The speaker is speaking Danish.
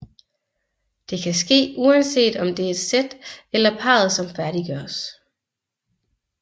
Det kan ske uanset om det er et sæt eller parret som færdiggøres